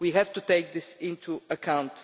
We have to take this into account.